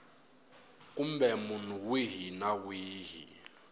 kumbe munhu wihi na wihi